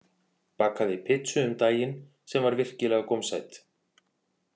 Bakaði pizzu um daginn sem var virkilega gómsæt